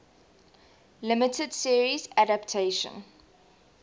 limited series adaptation